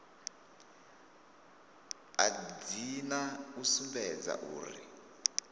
a dzina u sumbedza uri